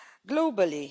Globally